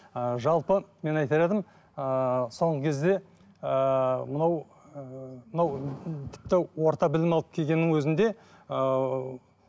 ыыы жалпы мен айтар едім ыыы соңғы кезде ыыы мынау ыыы мынау тіпті орта білім алып келгеннің өзінде ыыы